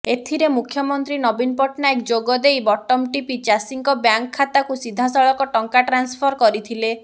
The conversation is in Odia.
ଏଥିରେ ମୁଖ୍ୟମନ୍ତ୍ରୀ ନବୀନ ପଟ୍ଟନାୟକ ଯୋଗଦେଇ ବଟମ ଟିପି ଚାଷୀଙ୍କ ବ୍ୟାଙ୍କ ଖାତାକୁ ସିଧାସଳଖ ଟଙ୍କା ଟ୍ରାନ୍ସଫର କରିଥିଲେ